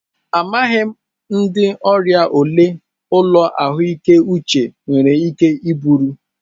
Amaghị m ndị ọrịa ole ụlọ ahụike uche nwere ike iburu.